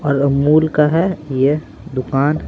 और अमूल का है ये दुकान।